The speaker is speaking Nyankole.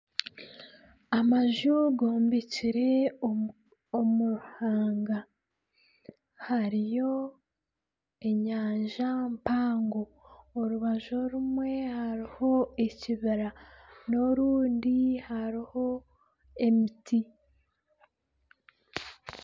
Amaju gombekire omu ruhanga hariyo enyanja mpango orubaju orumwe hariho ekibira n'orundi hariho emiti.